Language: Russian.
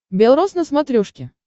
бел рос на смотрешке